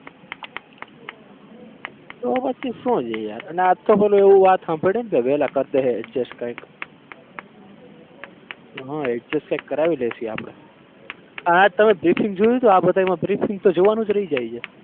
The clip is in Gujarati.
તો પછી શું છે યાર અને આ જ તો એવી વાત સાંભળી ને કે વેલા કર દેહે adjust કઈક હા adjust એ કરાઈ લેશો ઈ આપણે આ તમે briefing જોયું હતું? આ બધામાં briefing તો જોવાનું જ રહી જાય છે.